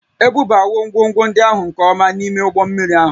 Ebubawo ngwongwo ndị ahụ nke ọma n'ime ụgbọ mmiri ahụ